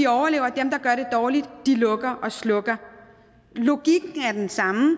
overlever dem der gør det dårligt lukker og slukker logikken er den samme og